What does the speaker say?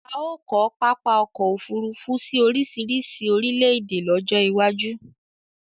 A o ko papa ọkọ ofurufu si orisirisi orile ede lojo iwaju